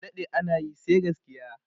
adaɗe anayi sai gaskiya!